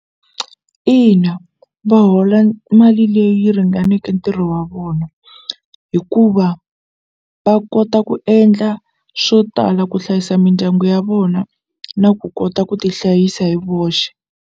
Ina va hola mali leyi ringaneke ntirho wa vona hikuva va kota ku endla swo tala ku hlayisa mindyangu ya vona na ku kota ku ti hlayisa hi voxe.